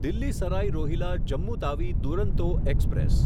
Delhi Sarai Rohilla Jammu Tawi Duronto express